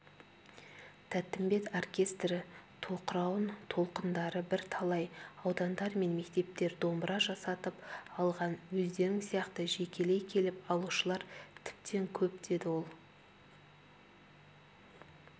тәттімбет оркестрі тоқырауын толқындары бірталай аудандар мен мектептер домбыра жасатып алған өздерің сияқты жекелей келіп алушылар тіптен көп деді ол